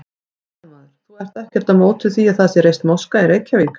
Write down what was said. Fréttamaður: Þú ert ekkert á móti því að það sé reist moska í Reykjavík?